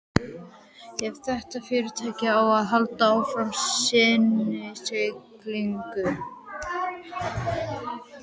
Ef þetta fyrirtæki á að halda áfram sinni siglingu.